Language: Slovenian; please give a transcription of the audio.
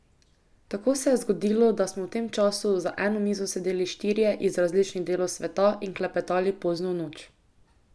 Tako se je zgodilo, da smo v tem času za eno mizo sedeli štirje iz različnih delov sveta in klepetali pozno v noč.